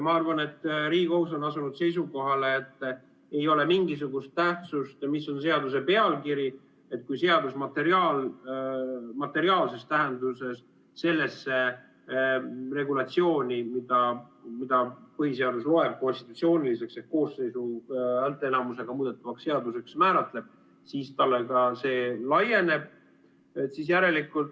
Ma arvan, et Riigikohus on asunud seisukohale, et ei ole mingisugust tähtsust, mis on seaduse pealkiri, kui seadus materiaalses tähenduses sellesse regulatsiooni, mida põhiseadus konstitutsiooniliseks ehk koosseisu häälteenamusega muudetavaks seaduseks määratleb, siis talle see laieneb.